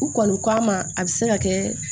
U kɔni k'a ma a bɛ se ka kɛ